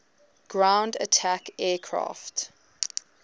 ground attack aircraft